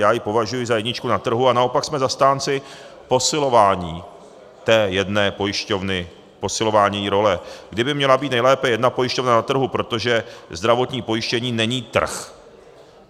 Já ji považuji za jedničku na trhu, a naopak jsme zastánci posilování té jedné pojišťovny, posilování její role, kdy by měla být nejlépe jedna pojišťovna na trhu, protože zdravotní pojištění není trh.